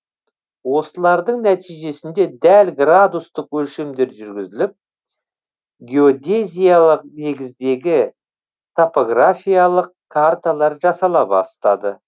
осылардың нәтижесінде дәл градустық өлшемдер жүргізіліп геодезиялық негіздегі топографиялық карталар жасала бастады